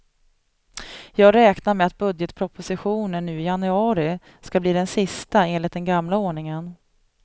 Jag räknar med att budgetpropositionen nu i januari ska bli den sista enligt den gamla ordningen.